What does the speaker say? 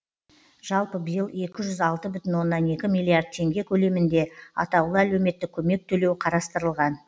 жалпы биыл екі жүз алты бүтін оннан екі миллиард теңге көлемінде атаулы әлеуметтік көмек төлеу қарастырылған